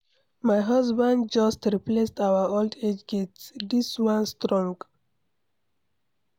My husband just replace our old gate. Dis one strong.